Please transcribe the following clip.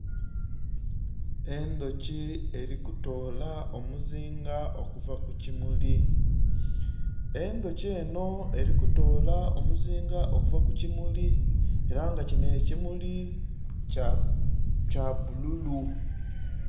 Endhuki eli kutoola omuzinga okuvu ku kimili, enhuki enho eli kutoola omuzinga okuva ku kimuli ela nga kinho ekimuli kya bululu.